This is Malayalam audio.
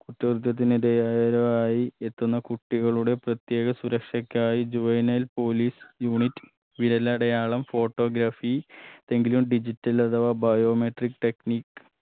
ഒത്തൊതർപ്പത്തിന് ഇടയായവരോ ആയി എത്തുന്ന കുട്ടികളുടെ പ്രത്യേക സുരക്ഷക്കായി juvenile police unit വിരലടയാളം photography തെങ്കിലും digital അഥവാ biometric technic